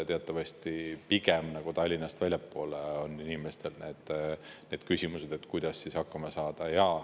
Teatavasti pigem Tallinnast väljaspool on inimestel küsimused, kuidas hakkama saada.